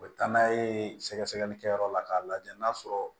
U bɛ taa n'a ye sɛgɛsɛgɛlikɛyɔrɔ la k'a lajɛ n'a sɔrɔ